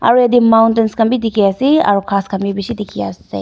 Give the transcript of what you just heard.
aro yatae mountains khan bi dikhiase aro ghas khan bi bishi dikhiase.